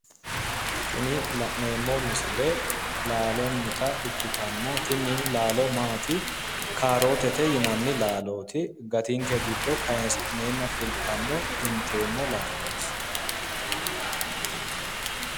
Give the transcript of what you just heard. Tini la'neemmo misile laalonnita ikkitanna tini laalo maati kaarotete yinanni laalooti gatinke giddo kaayisi'neenna fultanno inteemmo laalooti.